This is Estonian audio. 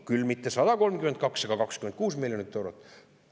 Küll aga mitte 132, aga 26 miljoni euro võrra.